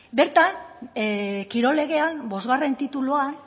bertan kirol legean bost tituluan